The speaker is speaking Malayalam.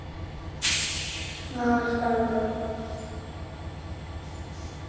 ആഹ് ഇഷ്ടാണല്ലോ